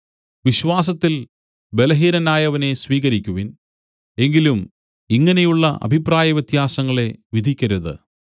വിശ്വാസത്തിൽ ബലഹീനനായവനെ സ്വീകരിക്കുവിൻ എങ്കിലും ഇങ്ങനെയുള്ള അഭിപ്രായവ്യത്യാസങ്ങളെ വിധിക്കരുത്